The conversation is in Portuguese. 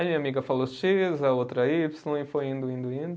Aí minha amiga falou xis, a outra ípsilo, e foi indo, indo, indo.